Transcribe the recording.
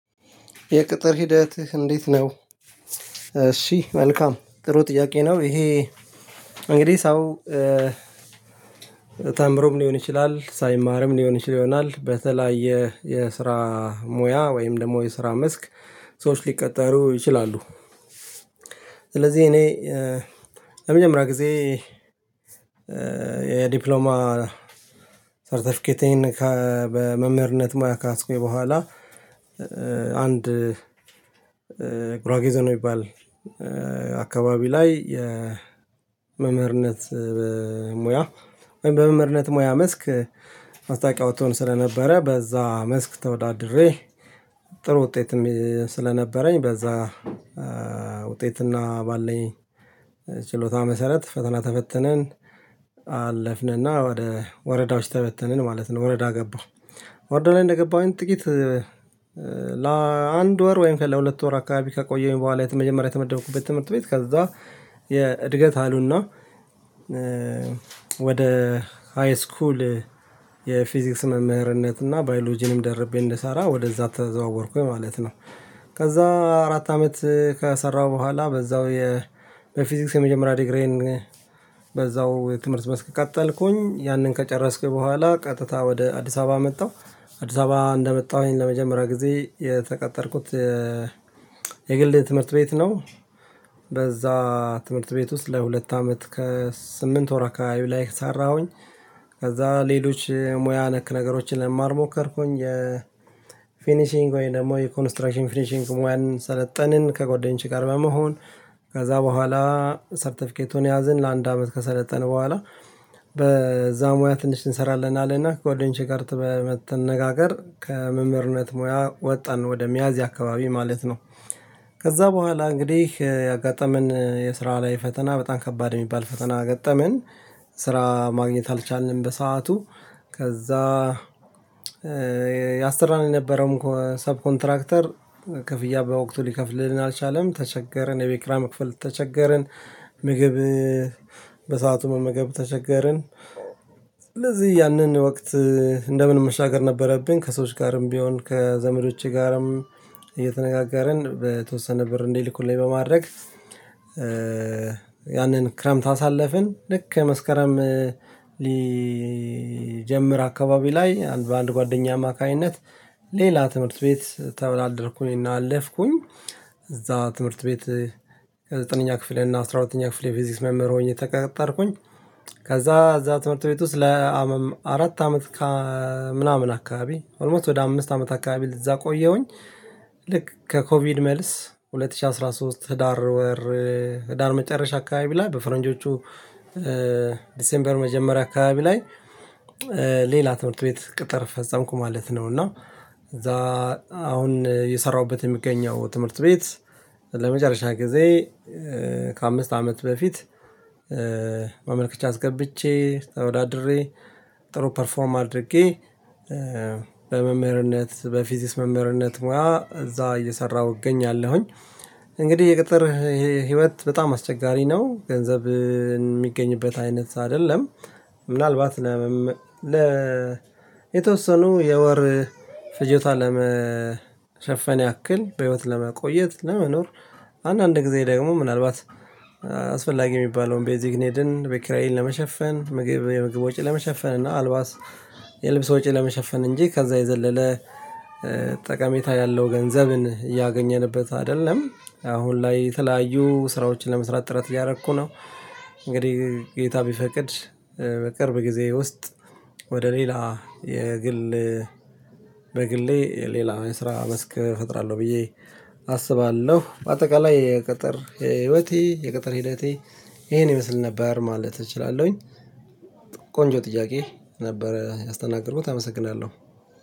የቅጥር ሂደትህ እንዴት ነው? እሺ መልካም ጥሩ ጥያቄ ነው ይሄ። እንግዲህ ሰው ተምሮም ሊሆን ይችላል ሳይማርም ሊሆን ይችል ይሆናል በተለያየ የስራ ሙያ ወይም ደግሞ የስራ መስክ ሰዎች ሊቀጠሩ ይችላሉ። ስለዚህ እኔ ለመጀመሪያ ጊዜ የዲፕሎማ ሰርተፊኬቴን በመምህርነት ሙያ ከያዝኩኝ በኋላ አንድ ጉራጌ ዞን የሚባል አካባቢ ላይ የመምህርነት ሙያ ወይም በመምህርነት ሙያ መስክ መታወቂያ ስለነበረ በዛ መስክ ተወዳድሬ ጥሩ ውጤትም ስለነበረኝ በዛ ውጤትና ባለኝ ችሎታ መሰረት ፈተና ተፈትነን አለፍንና ወደ ወረዳዎች ተበተንን ማለት ነው። ወረዳ ገባሁ ወረዳ ላይ እንደገባሁኝ ጥቂት ለአንድ ወር ወይም ከለሁለት ወር አካባቢ ከቆየሁኝ በኋላ መጀመሪያ የተመደብኩበት ትምህርት ቤት ከዛ የእድገት አሉና ወደ ሃይስኩል የፊዚክስ መምህርነት እና ባዮሎጂንም ደርቤ እንድሰራ ወደዛ ተዘዋወርኩኝ ማለት ነው። ከዛ አራት አመት ከሰራሁ በኋላ በዛው በፊዚክስ የመጀመሪያ ዲግሪዬን በዛው የትምህርት መስክ ቀጠልኩኝ ያንን ከጨረስኩኝ በኋላ ቀጥታ ወደ አዲስ አበባ መጣሁ አዲስ አበባ እንደመጣሁኝ ለመጀመሪያ ጊዜ የተቀጠርኩት የግል ትምህርት ቤት ነው። በዛ ትምህርት ቤት ውስጥ ለሁለት አመት ከስምንት ወር ከአካቢ ላይ ሰራሁኝ። ከዛ ሌሎች ሙያ ነክ ነገሮችን ለመማር ሞከርኩኝ የፊኒሺንግ ወይም ደግሞ የኮንስትራክሽን ፊኒሺንግ ሙያን ሰለጠንን ከጎደኞቼ ጋር በመሆን ከዛ በኋላ ሰርተፊኬቱን ያዘን ለአንድ አመት ከሰለጠንን በኋላ በዛ ሙያ ትንሽ እንሰራለን አለና ከጓደኞቼ ጋር በመተነጋገር ከመምህርነት ሙያ ወጣን ወደ ሚያዝያ አካባቢ ማለት ነው። ከዛ በኋላ እንግዲህ ያጋጠመን የስራ ላይ ፈተና በጣም ከባድ የሚባል ፈተና ገጠመን ስራ ማግኘት አልቻልንም በሰአቱ ከዛ ያሰራን ነበረው ሰብ ኮንትራክተር ክፍያ በወቅቱ ሊከፍልልን አልቻለም ተቸገርን የቤት ክራይም መክፈል ተቸገርን። ምግብ በሰአቱ መመገብ ተቸገርን ስለዚህ ያንን ወቅት እንደምንም መሻገር ነበረብኝ ከሰዎች ጋርም ቢሆን ከዘመዶቼ ጋርም እየተነጋገርን በተወሰነ ብር እንዲልኩልኝ በማድረግ ያንን ክረምት አሳለፍን ልክ መስከረም ሊጀምር አካባቢ ላይ አንድ በአንድ ጓደኛ አማካኝነት ሌላ ትምህርት ቤት ተብላ አደርኩኝ እና አለፍኩኝ እዛ ትምህርት ቤት ከዘጠነኛ ክፍል እና አስራ ሁለተኛ ክፍል የፊዚክስ መምህር ሆኜ ተቀጠርኩኝ። ከዛ እዛ ትምህርት ቤት ውስጥ ለአራት አራት አመት ከምናምን አካባቢ ኦልሞስት ወደ አምስት አመት አካባቢ ለዛ ቆየሁኝ። ልክ ከኮቪድ መልስ ሁለት ሺህ አስራ ሶስት ህዳር ወር ህዳር መጨረሻ አካባቢ ላይ በፈረንጆቹ ዲሴምበር መጀመሪያ አካባቢ ላይ ሌላ ትምህርት ቤት ቅጥር ፈጸምኩ ማለት ነው። እና እዛ አሁን እየሰራሁበት የሚገኘው ትምህርት ቤት ለመጨረሻ ጊዜ ከአምስት አመት በፊት ማመልከቻ አስገብቼ ተወዳድሬ ጥሩ ፐርፎርም አድርጌ በመምህርነት በፊዚስ መምህርነት ሙያ እዛ እየሰራሁ እገኛለሁኝ። እንግዲህ የቅጥር ህይወት በጣም አስቸጋሪ ነው ገንዘብ የሚገኝበት አይነት አይደለም። ምናልባት ለ የተወሰኑ የወር ፍጀቷ ለመሸፈን ያክል በህይወት ለመቆየት ለመኖር አንዳንድ ጊዜ ደግሞ ምናልባት አስፈላጊ የሚባለውን ቤዚክኔድን ቤት ኪራይን ለመሸፈን ምግብ የምግብ ወጪ ለመሸፈን እና አልባስ የልብስ ወጪ ለመሸፈን እንጂ ከዛ የዘለለ ጠቀሜታ ያለው ገንዘብን እያገኘንበት አይደለም አሁን ላይ የተለያዩ ስራዎችን ለመስራት ጥረት እያደረኩ ነው። እንግዲህ ጌታ ቢፈቅድ በቅርብ ጊዜ ውስጥ ወደ ሌላ የግል በግሌ ሌላ የስራ መስክ እፈጥራለሁ ብዬ አስባለሁ በአጠቃላይ የቅጥር ህይወቴ የቅጥር ሂደቴ ይሄን ይመስል ነበር ማለት እችላለሁኝ። ቆንጆ ጥያቄ ነበረ ያስተናገድኩህ አመሰግናለሁ።